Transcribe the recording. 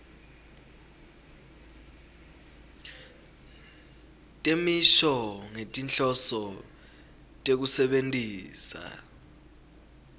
temisho ngetinhloso tekusebentisa